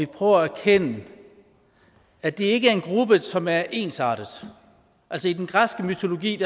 prøver at erkende at det ikke er en gruppe som er ensartet altså i den græske mytologi